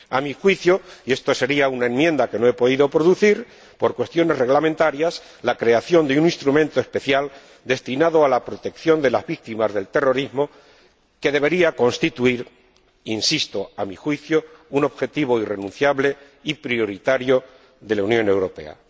A mi juicio —y esto sería una enmienda que no he podido presentar por cuestiones reglamentarias—, la creación de un instrumento especial destinado a la protección de las víctimas del terrorismo debería constituir —insisto, a mi juicio— un objetivo irrenunciable y prioritario de la Unión Europea.